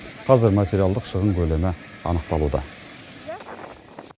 қазір материалдық шығын көлемі анықталуда